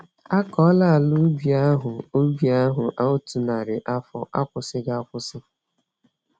Akọọla ala ubi ahụ ubi ahụ otú nnari afọ, akwụsịghi akwụsị